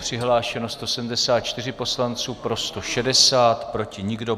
Přihlášeni 174 poslanci, pro 160, proti nikdo.